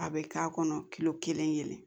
A bɛ k'a kɔnɔ kilo kelen